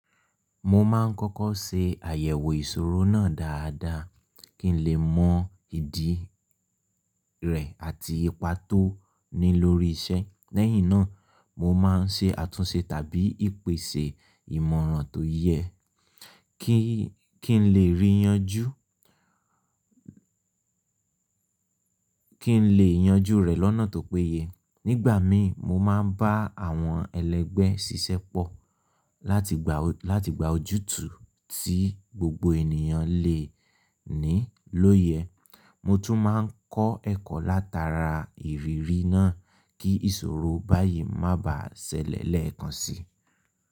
Mo máa ń kọ́kọ́ ṣe àyẹ̀wò ìṣòro náà dáadáa kí ń lè mọ ìdí rẹ̀ àti ipa tó ní lórí iṣẹ́. Lẹ́yìn náà, mo máa ń ṣe àtúnṣe tàbí ìpèsè ìmọ̀ràn tó yẹ kí n lè yanjú rẹ̀ lọ́nà tó péye. Nígbà mìí, mo máa ń bá àwọn ẹlẹgbẹ́ ṣiṣẹ́pọ̀ láti gba ojútù tí gbogbo ènìyàn lè ní lóyè. Mo tún máa ń kọ́ ẹ̀kọ́ látaara ìrírí náà kí ìṣòro báyìí má bà á ṣẹlẹ̀ lẹ́ẹ̀kan sí.